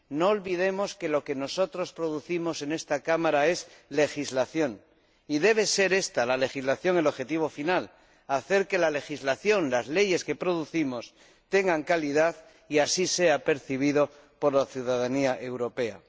No olvidemos que lo que nosotros producimos en esta Cámara es legislación y debe ser esta, la legislación, el objetivo final hacer que la legislación —el conjunto de leyes que producimos— tenga calidad y que así lo perciba la ciudadanía europea.